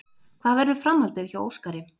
Hvað verður framhaldið hjá Óskari?